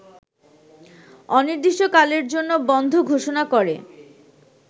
অনির্দিষ্টকালের জন্য বন্ধ ঘোষণা করে